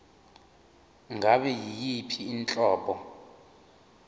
ngabe yiyiphi inhlobo